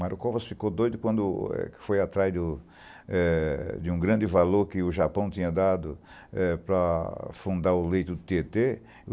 Mario Covas ficou doido quando foi atrás do eh de um grande valor que o Japão tinha dado eh para fundar o leito do Tietê.